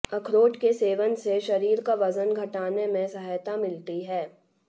अखरोट के सेवन से शरीर का वजन घटाने में सहायता मिलती है